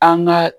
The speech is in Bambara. An ka